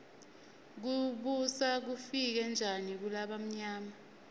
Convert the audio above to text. kubusa kufike njani kulabamyama